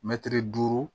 Mɛtiri duuru